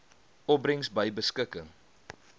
opbrengs by beskikking